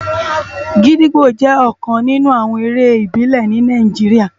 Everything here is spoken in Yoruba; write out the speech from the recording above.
Gidigbó jè òkán ninú àwòn éré ibilè ni Nàijiriá